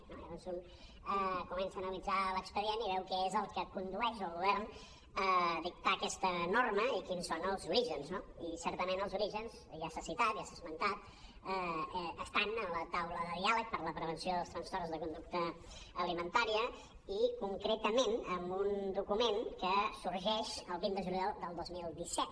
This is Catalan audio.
llavors un comença a analitzar l’expedient i veu què és el que condueix el govern a dictar aquesta norma i quins són els orígens no i certament els orígens ja s’ha citat ja s’ha esmentat estan en la taula de diàleg per a la prevenció dels trastorns de conducta alimentària i concretament en un document que sorgeix el vint de juliol del dos mil disset